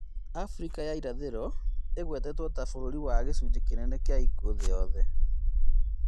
Afrika ya itherero ĩgwetetwo ta bũrũri wa gĩcunjĩ kĩnene kĩa ikuũ thĩ yothe